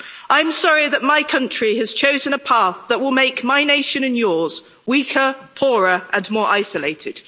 I'm sorry that my country has chosen a path that will make my nation and yours weaker, poorer and more isolated.